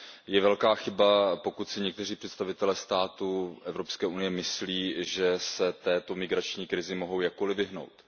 Je velká chyba, pokud si někteří představitelé států EU myslí, že se této migrační krizi mohou jakkoli vyhnout.